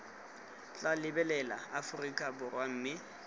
tla lebelela aforika borwa mme